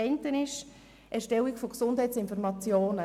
Das eine ist das Erstellen von Gesundheitsinformationen.